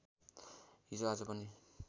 हिजो आज पनि